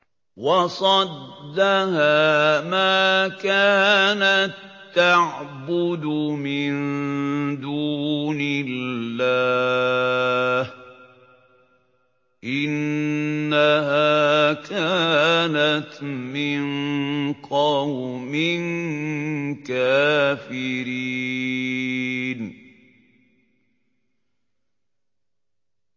وَصَدَّهَا مَا كَانَت تَّعْبُدُ مِن دُونِ اللَّهِ ۖ إِنَّهَا كَانَتْ مِن قَوْمٍ كَافِرِينَ